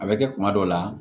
A bɛ kɛ kuma dɔw la